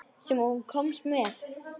Sem þú komst með.